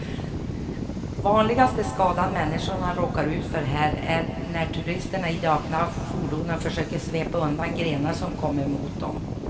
Vanligaste skadan människor råkar ut för här är att turisterna i de öppna fordonen försöker svepa undan grenar som kommer mot dem.